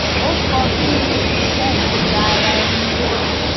ó sọ bí iṣé ìyòǹda ara ẹni tí